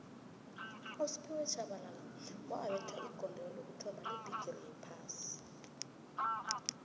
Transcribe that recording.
usphiwe shabalala wabetha igondelo lokuthoma lebhigixi yophasi